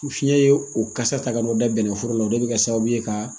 Fiɲɛ ye o kasa ta ka n'o da bɛnnɛ foro la o de bɛ kɛ sababu ye ka